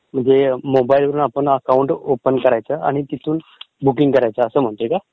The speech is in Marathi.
म्हणजे मोबाइलला अकाऊंट ओपन करायचं तिथून बुकींग करायचं असं म्हणतोय का?